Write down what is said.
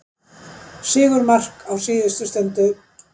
Sigurmark á síðustu stundu